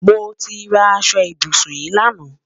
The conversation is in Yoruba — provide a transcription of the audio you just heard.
Mo ti rà àṣọ ìbùṣún yìí lánà.